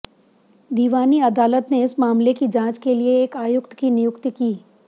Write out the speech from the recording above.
दीवानी अदालत ने इस मामले की जांच के लिए एक आयुक्त की नियुक्ति की